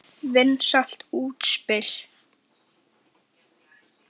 Vinsælt útspil.